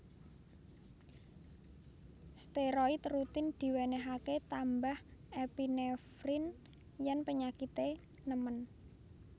Steroid rutin diwenehake tambah epinefrin yen penyakite nemen